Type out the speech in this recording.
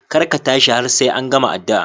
Kar ka tashi har sai an gama addu'ar.